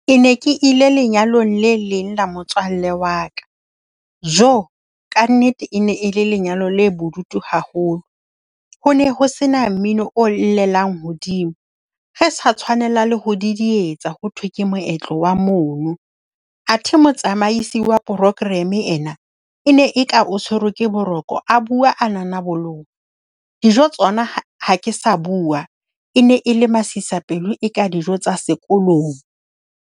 Ke ne ke ile lenyalong le leng la motswalle wa ka. Joo, ka nnete e ne e le lenyalo le bodutu haholo. Ho ne ho se na mmino o llelang hodimo. Re sa tshwanelang le ho didietsa ho thwe ke moetlo wa mono. Athe motsamaisi wa programme yena e ne eka o tshwerwe ke boroko. A bua a nanaboloha. Dijo tsona ha ha ke sa bua. E ne e le masisapelo, eka dijo tsa sekolong.